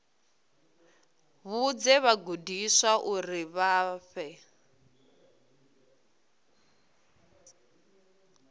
vhudze vhagudiswa uri vha fhe